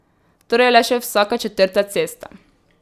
Torej le še vsaka četrta cesta.